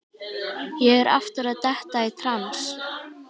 Ég er aftur að detta í trans.